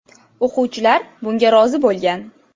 O‘quvchilar bunga rozi bo‘lgan.